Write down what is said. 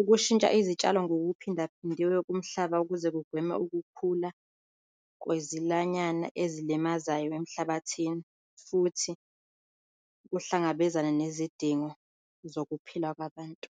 Ukushintsha izitshalo ngokuphindaphindiwe kumhlaba ukuze kugweme ukukhula kwezilwanyana ezilimazayo emhlabathini futhi kuhlangabezane nezidingo zokuphila kwabantu.